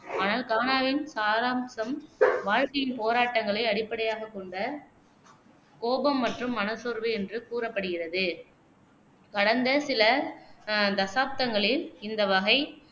ஆனால் கானாவின் சாராம்சம் வாழ்க்கையின் போராட்டங்களை அடிப்படையாகக் கொண்ட கோபம் மற்றும் மனச்சோர்வு என்று கூறப்படுகிறது கடந்த சில தசாப்தங்களில், இந்த வகை